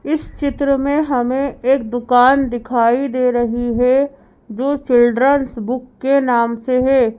इस चित्र में हमें एक दुकान दिखाई दे रही है जो चिल्ड्रंस बुक के नाम से है।